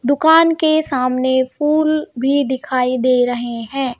दुकान के सामने फूल भी दिखाई दे रहे हैं.